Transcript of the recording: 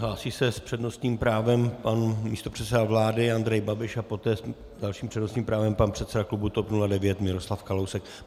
Hlásí se s přednostním právem pan místopředseda vlády Andrej Babiš a poté s dalším přednostním právem pan předseda klubu TOP 09 Miroslav Kalousek.